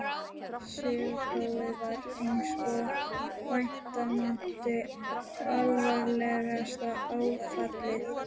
Söguprófið varð einsog vænta mátti alvarlegasta áfallið.